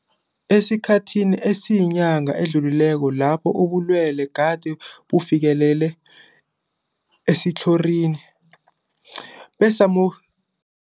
Esikhathini esiyinyanga esidlulileko lapho ubulwele gade bufikelele esitlhorini, besamu